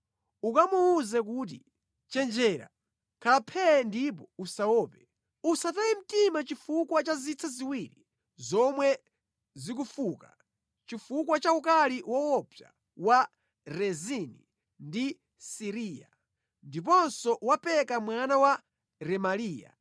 Ukamuwuze kuti, ‘Chenjera, khala phee ndipo usaope. Usataye mtima chifukwa cha zitsa ziwiri zomwe zikufuka, chifukwa cha ukali woopsa wa Rezini ndi Siriya, ndiponso wa Peka mwana wa Remaliya.